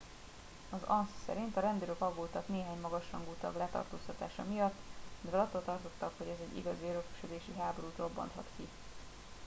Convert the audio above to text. "az ansa szerint "a rendőrök aggódtak néhány magas rangú tag letartóztatása miatt mivel attól tartottak hogy ez egy igazi örökösödési háborút robbanthat ki.